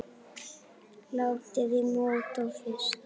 Látið í mót og fryst.